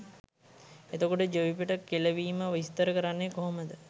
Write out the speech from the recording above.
එතකොට ජවිපෙට කෙලවීම විස්තර කරන්නෙ කොහොමද?